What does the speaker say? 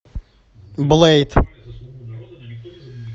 блейд